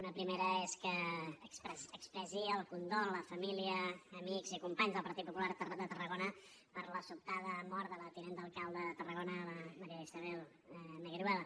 una primera és que expressi el condol a família amics i companys del partit popular de tarragona per la sobtada mort de la tinent d’alcalde de tarragona la maría isabel negueruela